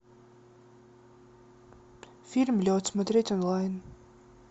фильм лед смотреть онлайн